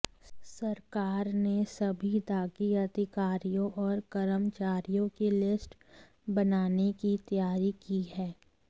सरकार ने सभी दागी अधिकारियों और कर्मचारियों की लिस्ट बनाने की तैयारी की है